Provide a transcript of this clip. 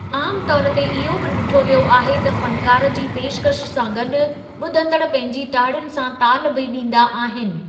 आम तौर ते इहो बि ॾिठो वियो आहे त फनकार जी पेशकशि सां गॾु ॿुधंदड़ पहिंजी ताड़ियुनि सां ताल बि ॾींदा आहिनि।